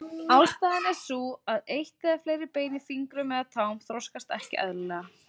Ástæðan er sú að eitt eða fleiri bein í fingrum eða tám þroskast ekki eðlilega.